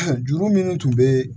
Juru minnu tun bɛ